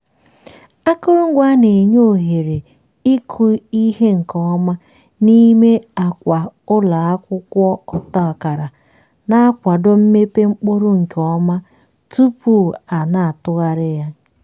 akụrụngwa a na-enye ohere ịkụ ihe nke ọma n'ime akwa ụlọ akwụkwọ ọta akara na-akwado mmepe mkpụrụ nke ọma tupu a na-atụgharị ya.